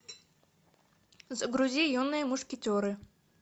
загрузи юные мушкетеры